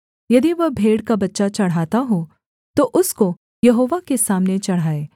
यदि वह भेड़ का बच्चा चढ़ाता हो तो उसको यहोवा के सामने चढ़ाए